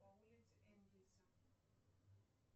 по улице энгельса